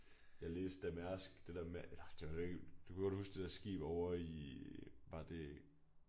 Jeg læste at Mærsk det der med eller det var ikke du kan godt huske det der skib ovre i var det